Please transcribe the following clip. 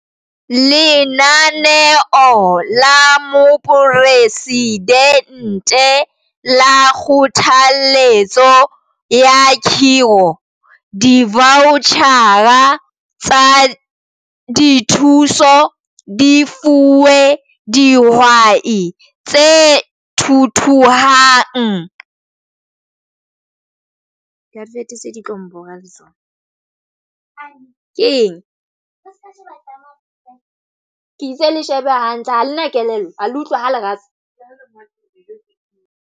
Ka Lenaneo la Moporesidente la Kgothalletso ya Khiro, divautjhara tsa dithuso di fuwe dihwai tse thuthuhang tse fetang 65 000, mme mosebetsi o ntse o tswela pele ho fihella dihwai tse jwalo tse 250 000.